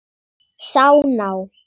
Sá ná